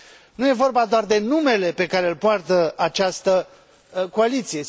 Nu e vorba doar de numele pe care îl poartă această coaliție.